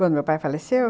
Quando meu pai faleceu?